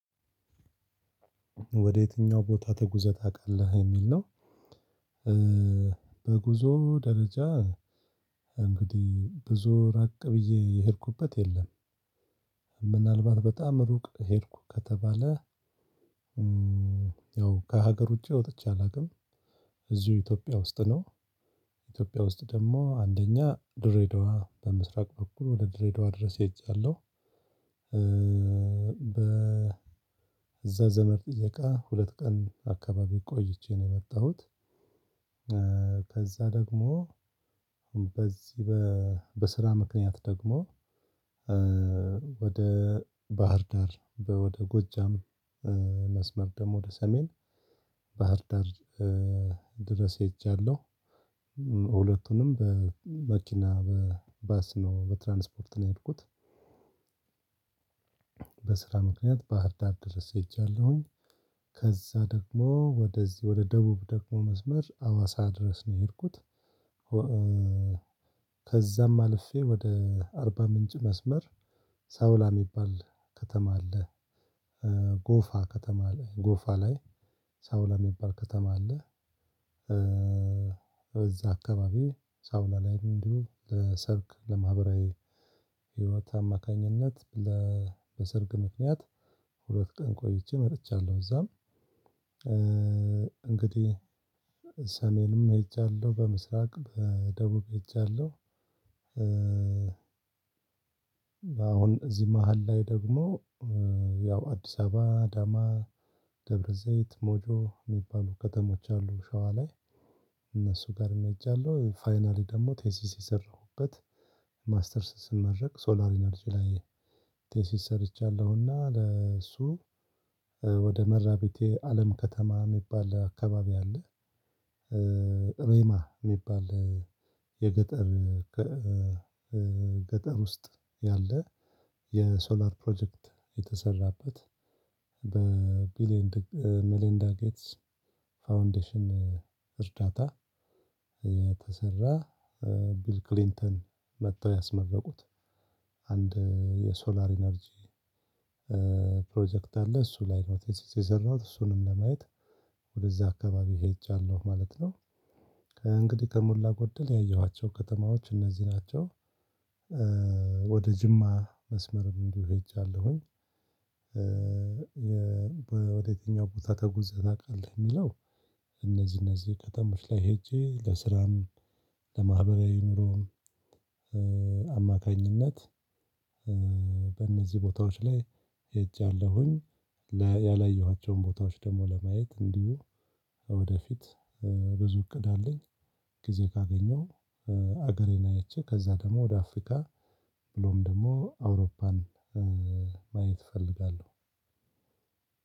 ወደ የትኛው ቦታ ተጉዘህ ታውቃለህ የሚል ነው? በጉዞ ደረጃ እንግዲህ ብዙ ራቅ ብዬ የሄድኩበት የለም። ምናልባት በጣም ሩቅ ሄድኩ ከተባለ ያው ከሀገር ውጪ ወጥቼ አላውቅም። እዚሁ ኢትዮጵያ ውስጥ ነው። ኢትዮጵያ ውስጥ ደሞ አንደኛ ድሬዳዋ በምስራቅ በኩል ወደ ድሬዳዋ ድረስ ሄጃለሁ። እዛ ዘመድ ጥየቃ ሁለት ቀን አካባቢ ቆይቼ ነው የመጣሁት። ከዛ ደግሞ በዚህ በስራ ምክንያት ደግሞ ወደ ባህር ዳር ወደ ጎጃም መስመር ደሞ ወደ ሰሜን ባህር ዳር ድረስ ሄጃለሁ። ሁለቱንም በመኪና በባስ ነው በትራንስፖርት ነው የሄድኩት። በስራ ምክንያት ባህር ዳር ደርስ ሄጃለሁኝ። ከዛ ደግሞ ወደዚህ ወደ ደቡብ ደግሞ መስመር አዋሳ ድረስ ነው የሄድኩት። ከዛም አልፌ ወደ አርባ ምንጭ መስመር ሳውላ እሚባል ከተማ አለ። ጎፋ ከተማ ላይ ጎፋ ላይ ሳውላ እሚባል ከተማ አለ። በዛ አካባቢ ሳውላ ላይ እንዲሁ ለሰርግ ለማህበራዊ ህይወት አማካኝነት በሰርግ ምክንያት ሁለት ቀን ቆይቼ መጥቻለሁ። እዛም እንግዲህ ሰሜንም ሄጃለሁ በምስራቅ በደቡብ ሄጃለሁ። አሁን እዚህ መሃል ላይ ደግሞ ያው አዲስ አበባ አዳማ ደብረ ዘይት ሞጆ የሚባሉ ከተሞች አሉ። ሸዋ ላይ እነሱ ጋር ሄጃለሁ። ፋይናሊ ደግሞ ቴሲስ የሰራሁበት ማስተርስ ስመረቅ ሶላር ኢነርጂ ላይ ቴሲስ ሰርቻለሁና ለእሱ ወደ መራቤቴ አለም ከተማ የሚባል አካባቢ አለ። ሬማ እሚባል የገጠር ገጠር ውስጥ ያለ የሶላር ፕሮጀክት የተሰራበት በቢሊየን ሚሊንዳ ጌትስ ፋውንዴሽን እርዳታ የተሰራ ቢል ክሊንተን መጥተው ያስመረቁት አንድ የሶላር ኢነርጂ ፕሮጀክት አለ። እሱ ላይ ነው ቴሲስ የሰራሁት እሱንም ለማየት ወደዛ አካባቢ ሄጃለሁ ማለት ነው። እንግዲህ ከሞላ ጎደል ያየኋቸው ከተማዎች እነዚህ ናቸው። ወደ ጅማ መስመር እንዲሁ ሄጃለሁኝ። ወደ የትኛው ቦታ ተጉዘህ ታውቃለህ እሚለው? እነዚህ ከተሞች ላይ ሄጄ ለስራም ለማህበራዊ ኑሮም አማካኝነት በእነዚህ ቦታዎች ላይ ሄጃለሁኝ። ያላየኋቸውን ቦታዎች ደሞ ለማየት እንዲሁ ወደፊት ብዙ እቅድ አለኝ። ጊዜ ካገኘው ሀገሬን አይቼ ከዛ ደሞ ወደ አፍሪካ ብሎም ደግሞ አውሮፓን ማየት እፈልጋለሁ።